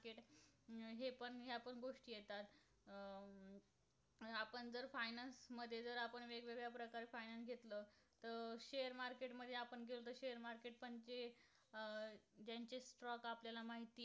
का आपल्याला माहिती